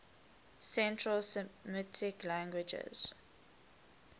central semitic languages